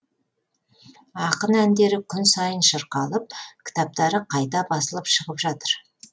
ақын әндері күн сайын шырқалып кітаптары қайта басылып шығып жатыр